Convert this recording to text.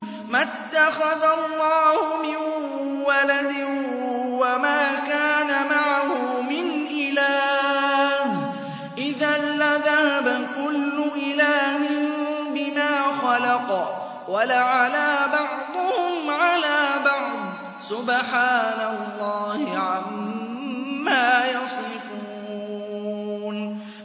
مَا اتَّخَذَ اللَّهُ مِن وَلَدٍ وَمَا كَانَ مَعَهُ مِنْ إِلَٰهٍ ۚ إِذًا لَّذَهَبَ كُلُّ إِلَٰهٍ بِمَا خَلَقَ وَلَعَلَا بَعْضُهُمْ عَلَىٰ بَعْضٍ ۚ سُبْحَانَ اللَّهِ عَمَّا يَصِفُونَ